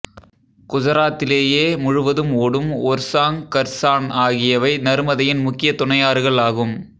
குசராத்திலேயே முழுவதும் ஓடும் ஒர்சாங் கர்சான் ஆகியவை நருமதையின் முக்கிய துணையாறுகள் ஆகும்